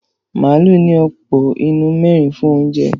Màálù ní àpò inú mẹ́rin fún oúnjẹ.